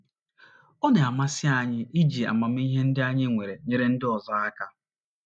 Ọ na - amasị anyị iji amamihe ndị anyị nwere nyere ndị ọzọ aka. ”